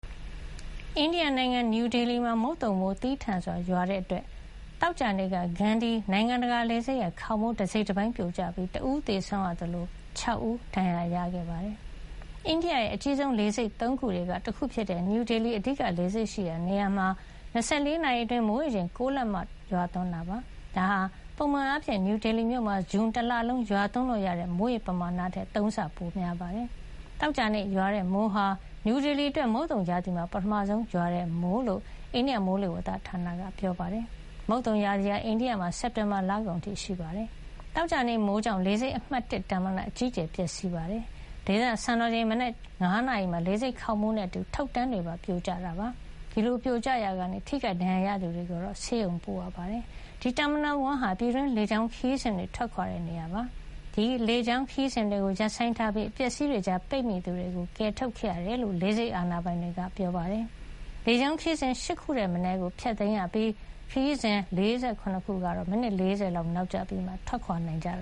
အိန္ဒိယနိုင်ငံ နယူးဒေလီမှာ မုတ်သုံမိုးသည်းထန်စွာ ရွာသွန်းခဲ့တဲ့အတွက် သောကြာနေ့က Gandi နိုင်ငံတကာလေဆိပ်ရဲ့ခေါင်မိုး တစိတ်တပိုင်း ပြိုကျပြီး တဦးသေဆုံးရသလို ၆ ဦး ဒဏ်ရာရခဲ့ပါတယ်။ အိန္ဒိယရဲ့ အကြီးဆုံးလေဆိပ် ၃ ခုထဲက တခုဖြစ်တဲ့ နယူးဒေလီရဲ့ အဓိက လေဆိပ်ရှိရာနေရာမှာ ၂၄ နာရီ အတွင်း မိုးရေချိန် ၉ လက်မလောက် ရွာသွန်းခဲ့တာပါ။ ဒါဟာ ပုံမှန်အားဖြင့် နယူးဒေလီမြို့မှာ ဇွန်လ တလလုံး ရွာသွန်းလို့ ရတဲ့ မိုးရေပမာဏထက် ၃ ဆ ပိုပြီးများနေတာ ဖြစ်ပါတယ်။ သောကြာနေ့ ရွာတဲ့မိုးဟာ နယူးဒေလီအတွက် မုတ်သုံရာသီမှာ ပထမဆုံးရွာတဲ့ မိုးဖြစ်ကြောင်း အိန္ဒိယမိုးလေဝသဌာနက ပြောပါတယ်။ မုတ်သုံရာသီဟာ အိန္ဒိယမှာ စက်တင်ဘာလကုန် အထိရှိနေတာပါ။ သောကြာနေ့ မိုးကြောင့် လေဆိပ်အမှတ် ၁ Terminal အကြီးအကျယ် ပျက်စီးခဲ့ရပါတယ်။ ဒေသစံတော်ချိန် မနက် ၅ နာရီမှာ လေဆိပ်ခေါင်မိုးနဲ့အတူ တုတ်တန်းတွေပါ ပြိုကျခဲ့တာ ဖြစ်ပါတယ်။ ဒီလို ပြိုကျရာကနေ ထိခိုက်ဒဏ်ရာရသူတွေကိုတော့ ဆေးရုံကို ပို့ပေးခဲ့ရပါတယ်။ ဒီ Terminal 1 ဟာ ပြည်တွင်းလေကြောင်းခရီးစဉ်တွေ ထွက်ခွါတဲ့နေရာ ဖြစ်ပါတယ်။ ဒီလေကြောင်းခရီးစဉ်တွေကို ရပ်ဆိုင်းထားရပြီး အပျက်အစီးတွေကြား ပိတ်မိနေသူတွေကို ကယ်ထုတ်ခဲ့ရတယ်လို့ လေဆိပ်အာဏာပိုင်တွေက ပြောပါတယ်။ လေကြောင်းခရီးစဉ် ၈ ခုထက်မနည်း ဖျက်သိမ်းခဲ့ရပြီး ခရီးစဉ် ၄၇ ခုကတော့ မိနစ် ၄၀ လောက် နောက်ကျပြီးမှ ထွက်ခွာနိုင်တာ